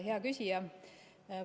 Hea küsija!